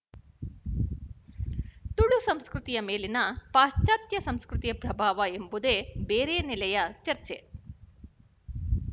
ತುಳು ಸಂಸ್ಕೃತಿಯ ಮೇಲಿನ ಪಾಶ್ಚಾತ್ಯ ಸಂಸ್ಕೃತಿಯ ಪ್ರಭಾವ ಎಂಬುದು ಬೇರೆ ನೆಲೆಯ ಚರ್ಚೆ